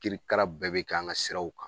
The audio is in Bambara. Kirikara bɛɛ bɛ k'an ka siraw kan.